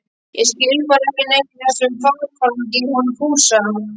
Ég skil bara ekkert í þessum vargagangi í honum Fúsa